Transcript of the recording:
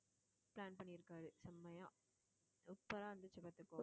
plan பண்ணியிருக்காரு செம்மையா super ஆ இருந்துச்சு பாத்துக்கோ